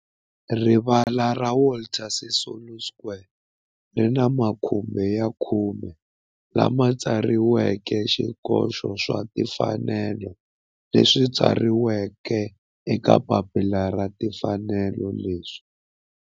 Rivala ra Walter Sisulu Square ri ni makhumbi ya khume lawa ma tsariweke swikoxo swa timfanelo leswi tsariweke eka papila ra timfanelo leswi